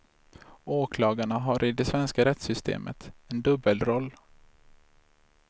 Åklagarna har i det svenska rättssystemet en dubbelroll.